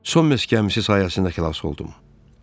Son Mes qəmisi sayəsində xilas oldum.